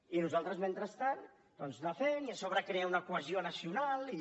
i nosaltres mentrestant doncs anar fent i a sobre crear una cohesió nacional i